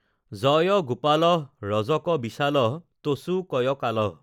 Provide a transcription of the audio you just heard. জয় গোপালঃ ৰজক বিসালঃতচু কয়কালঃ